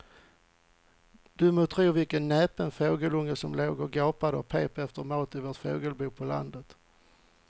Du må tro vilken näpen fågelunge som låg och gapade och pep efter mat i vårt fågelbo på landet.